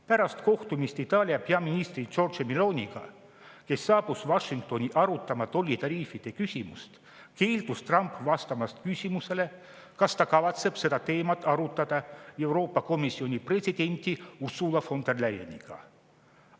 Pärast kohtumist Itaalia peaministri Georgia Meloniga, kes saabus Washingtoni arutama tollitariifide küsimust, keeldus Trump vastamast küsimusele, kas ta kavatseb seda teemat arutada Euroopa Komisjoni presidendi Ursula von der Leyeniga.